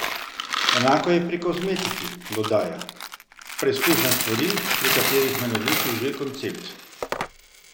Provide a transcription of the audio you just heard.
Enako je pri kozmetiki, dodaja: "Preizkušam stvari, pri katerih me navduši že koncept.